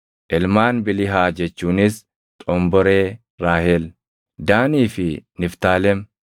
Ilmaan Bilihaa jechuunis xomboree Raahel: Daanii fi Niftaalem.